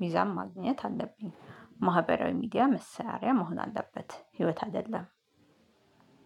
ሚዛን ማግኘት አለብኝ። ማህበራዊ ሚዲያ መሳሪያ መሆን አለበት ህይወት አይደለም።